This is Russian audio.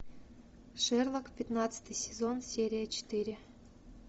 шерлок пятнадцатый сезон серия четыре